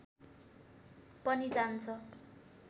पनि जान्छ